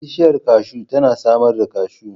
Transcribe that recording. Bishiyar kashu tana samar da kashu.